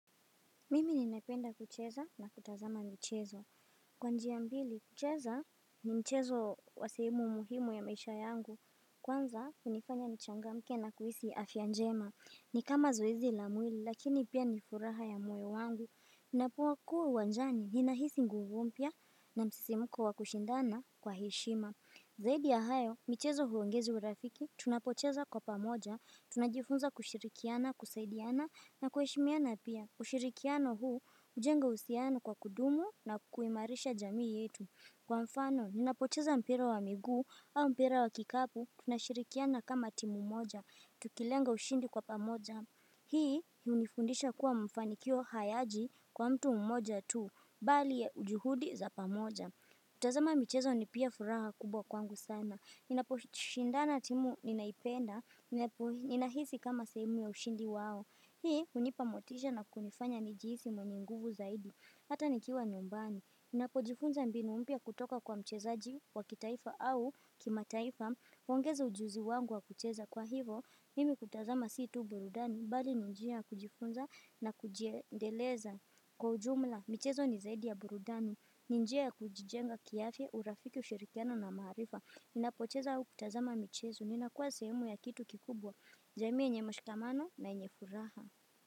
Mimi nina penda kucheza na kutazama mchezo Kwa njia mbili kucheza ni mchezo wa sehemu muhimu ya maisha yangu Kwanza unifanya nchangamke na kuhisi afya njema ni kama zoezi la mwili lakini pia ni furaha ya moyo wangu Ninapo kuwa uwanjani ninahisi nguvu mpya na msisimuko wakushindana kwa heshima Zaidi ya hayo mchezo huongeza urafiki tunapocheza kwa pamoja Tunajifunza kushirikiana, kusaidiana na kuheshimiana pia ushirikiano huu, ujenga usiano kwa kudumu na kuimarisha jamii yetu Kwa mfano, ninapocheza mpira wa miguu au mpira wa kikapu tunashirikiana kama timu moja, tukilenga ushindi kwa pamoja Hii, unifundisha kuwa mafanikio hayaji kwa mtu mmoja tu Bali ya ujuhudi za pamoja kutazama michezo ni pia furaha kubwa kwangu sana Ninapo shindana timu ninaipenda, nina hisi kama sehemu ya ushindi wao Hii unipa motisha na kunifanya nijihisi mwenye nguvu zaidi, hata nikiwa nyumbani Ninapo jifunza mbinu mpya kutoka kwa mchezaji wa kitaifa au kimataifa uongeza ujuzi wangu wa kucheza kwa hivo, mimi kutazama sii tu burudani bali ni njia ya kujifunza na kuji endeleza kwa ujumla Mchezo ni zaidi ya burudani, ni njia ya kujijenga ki afya, urafiki ushirikiano na maarifa Ninapo cheza ua kutazama michezo, ninakua sehemu ya kitu kikubwa jamii yenye mshikamano na yenye furaha.